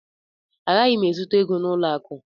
Agaghị m ezute gị n'ụlọ akụ